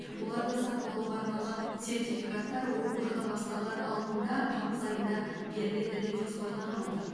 оларды сатып алуға арналған сертификаттар оқу жылы басталар алдында тамыз айында беріледі деп жоспарланып отыр